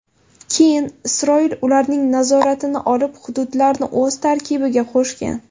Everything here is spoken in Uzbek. Keyin Isroil ularning nazoratini olib, hududlarni o‘z tarkibiga qo‘shgan.